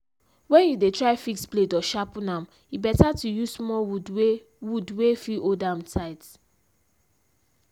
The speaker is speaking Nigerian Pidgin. when you dey try fix blade or sharpen am e better to use small wood wey wood wey fit hold am tight.